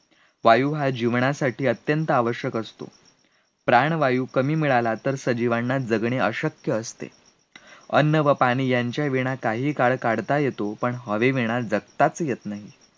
वायू जीवनासाठी अत्यंत आवश्यक असतो, प्राणवायू कमी मिळाला तर सजीवांना जगणे अशक्य असते, अन्न व पाणी यांच्याविणा काही काळ काढता येतो, पण हवे वीणा जगतच येत नाही